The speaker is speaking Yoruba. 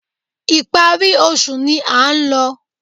Ìparí oṣù ni a ń lọ